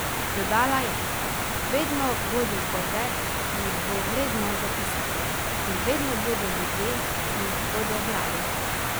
Dodala je: "Vedno bodo zgodbe, ki jih bo vredno zapisati, in vedno bodo ljudje, ki jih bodo brali.